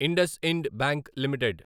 Indus Ind Bank limited